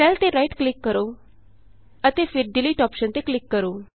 cell ਤੇ right click ਕਰੋ ਅਤੇ ਫਿਰ ਡਿਲੀਟ ਡਿਲੀਟ ਅੋਪਸ਼ਨ ਤੇ ਕਲਿਕ ਕਰੋ